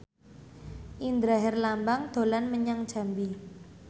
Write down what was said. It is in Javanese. Indra Herlambang dolan menyang Jambi